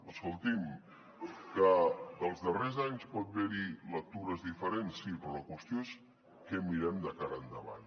escolti’m que dels darrers anys pot haver hi lectures diferents sí però la qüestió és què mirem de cara endavant